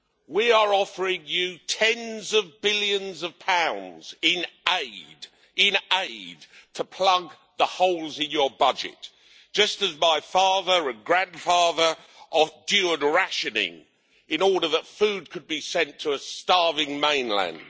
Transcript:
We are offering you tens of billions of pounds in aid, to plug the holes in your budget, just as my father and grandfather endured rationing in order that food could be sent to a starving mainland.